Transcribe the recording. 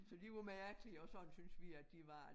Så de var mærkelige og sådan syntes vi at de var